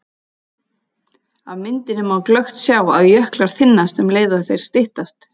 Af myndinni má glöggt sjá að jöklar þynnast um leið og þeir styttast.